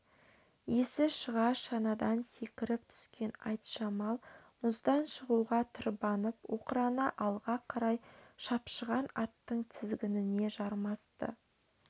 есі шыға шанадан секіріп түскен айтжамал мұздан шығуға тырбанып оқырана алға қарай шапшыған аттың тізгініне жармасты